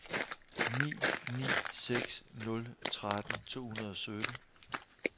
ni ni seks nul tretten to hundrede og sytten